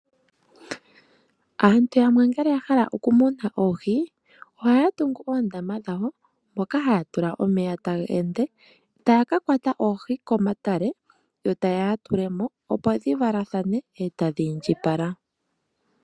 Aantu yamwe ngele yahala okumuna oohi, ohaya tungu oondama dhawo, moka haya tula omeya taga ende, taya ka kwata oohi komatale, yo tayeya yatulemo opo dhi valathane e tadhi indjipale.